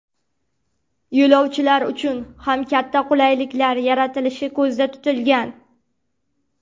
Yo‘lovchilar uchun ham katta qulayliklar yaratilishi ko‘zda tutilgan.